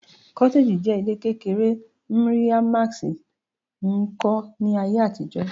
cottage je ile kekere mri a mask n ko ni aye atijo